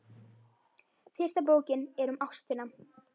Fyrsta bókin er um ástina.